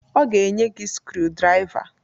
Ọ ga-enye gị skrudraiva.